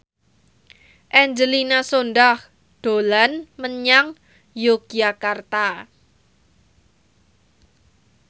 Angelina Sondakh dolan menyang Yogyakarta